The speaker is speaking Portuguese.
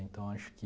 Então, acho que...